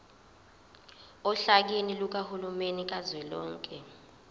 ohlakeni lukahulumeni kazwelonke